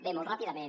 bé molt ràpidament